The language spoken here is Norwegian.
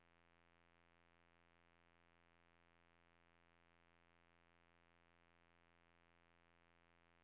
Tester en to tre fire fem seks sju åtte